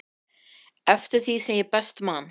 eftir því sem ég best man.